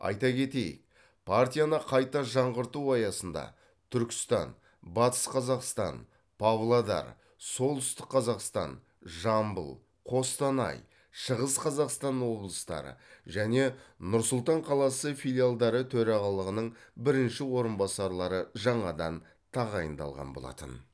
айта кетейік партияны қайта жаңғырту аясында түркістан батыс қазақстан павлодар солтүстік қазақстан жамбыл қостанай шығыс қазақстан облыстары және нұр сұлтан қаласы филиалдары төрағалығының бірінші орынбасарлары жаңадан тағайындалған болатын